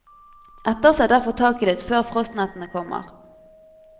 Etterse derfor taket ditt før frostnettene kommer.